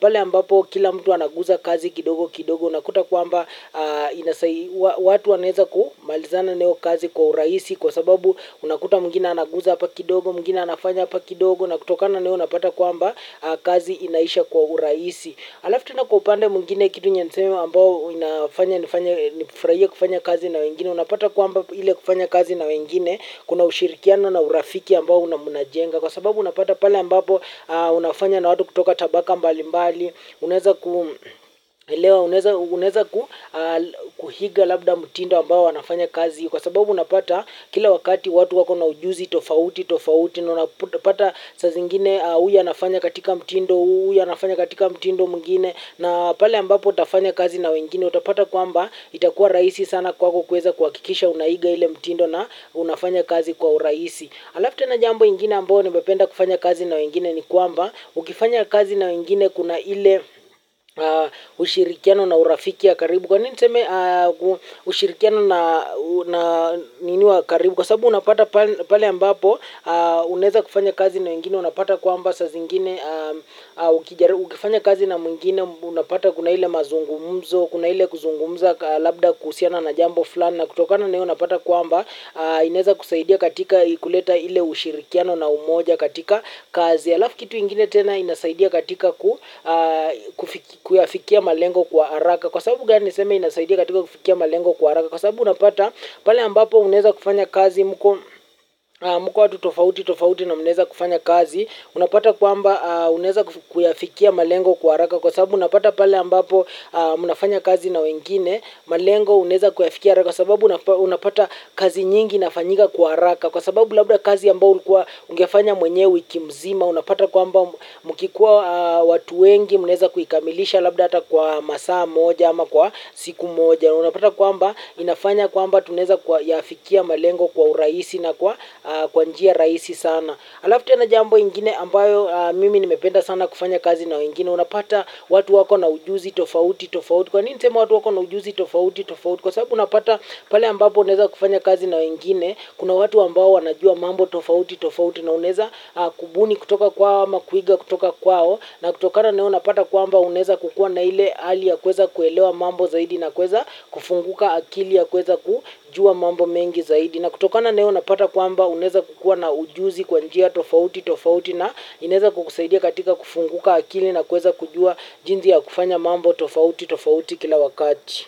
pale ambapo kila mtu anagusa kazi kidogo kidogo, unakuta kwamba watu wanaweza kumalizana na hiyo kazi kwa urahisi kwa sababu unakuta mwingine anagusa hapa kidogo, mwingine anafanya hapa kidogo, na kutokana na hiyo unapata kwamba kazi inaisha kwa urahisi. Halafu tena kwa upande mwingine kitu yenye niseme ambayo inafanya nifanye ni kufurahia kufanya kazi na wengine. Unapata kwamba ile kufanya kazi na wengine, kuna ushirikiano na urafiki ambao mnajenga. Kwa sababu unapata pale ambapo unafanya na watu kutoka tabaka mbalimbali unaweza kuiga labda mtindo ambao wanafanya kazi. Kwa sababu unapata kila wakati watu wako na ujuzi tofauti tofauti. Unapata saa zingine huyu anafanya katika mtindo, huyu anafanya katika mtindo mwingine. Na pale ambapo utafanya kazi na wengine utapata kwamba itakuwa rahisi sana kwako kuweza kuhakikisha unaiga ile mtindo na unafanya kazi kwa urahisi. Halafu tena jambo lingine ambalo napenda kufanya kazi na wengine ni kwamba ukifanya kazi na wengine kuna ile ushirikiano na urafiki ya karibu kwa nini niseme ushirikiano na nini wa karibu? Kwa sababu unapata pale ambapo, unaweza kufanya kazi na mwingine, unapata kwamba saaa zingine, ukifanya kazi na mwingine, unapata kuna ile mazungumzo, kuna ile kuzungumza labda kuhusiana na jambo fulani, na kutokana na hiyo unapata kwamba, inaweza kusaidia katika kuleta ile ushirikiano na umoja katika kazi. Halafu kitu ingine tena kinasaidia katika kuyafikia malengo kwa haraka. Kwa sababu gani niseme inasaidia katika kufikia malengo kwa haraka? Kwa sababu unapata pale ambapo unaweza kufanya kazi mko watu tofauti tofauti na mnaweza kufanya kazi. Unapata kwamba unaweza kuyafikia malengo kwa haraka. Kwa sababu unapata pale ambapo unafanya kazi na wengine, malengo unaweza kuyafikia haraka. Kwa sababu unapata kazi nyingi inafanyika kwa haraka. Kwa sababu labda kazi ambayo ungefanya mwenyewe wiki nzima, unapata kwamba mkikuwa watu wengi mnaweza kuikamilisha labda hata kwa saa moja ama kwa siku moja. Unapata kwamba inafanya kwamba tunaweza kuyafikia malengo kwa urahisi na kwa njia rahisi sana halafu tena jambo ingine ambalo mimi nimependa sana kufanya kazi na mwingine, unapata watu wako na ujuzi tofauti tofauti. Kwa nini niseme watu wako na ujuzi tofauti tofauti? Kwa sababu unapata pale ambapo unaweza kufanya kazi na mwingine kuna watu ambao wanajua mambo tofauti tofauti na unaweza kubuni kutoka kwa ama kuiga kutoka kwao. Na kutokana na hilo napata kwamba unaweza kukua na ile hali ya kuweza kuelewa mambo zaidi na kuweza kufunguka akili ya kuweza kujua mambo mengi zaidi. Na kutokana na hilo napata kwamba unaweza kukua na ujuzi kwa njia tofauti tofauti na inaweza kukusaidia katika kufunguka akili na kuweza kujua jinsi ya kufanya mambo tofauti tofauti kila wakati.